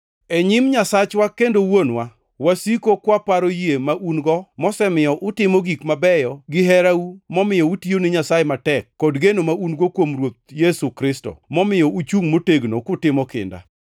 E nyim Nyasachwa kendo Wuonwa, wasiko kwaparo yie ma un-go mosemiyo utimo gik mabeyo gi herau momiyo utiyo ne Nyasaye matek, kod geno ma un-go kuom Ruoth Yesu Kristo, momiyo uchungʼ motegno kutimo kinda.